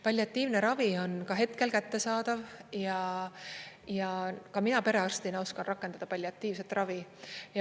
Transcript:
Palliatiivne ravi on hetkel kättesaadav ja ka mina perearstina oskan rakendada palliatiivset ravi.